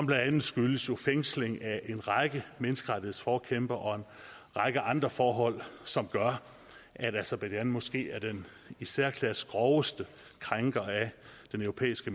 blandt andet skyldes fængsling af en række menneskerettighedsforkæmpere og en række andre forhold som gør at aserbajdsjan måske er den i særklasse groveste krænker af den europæiske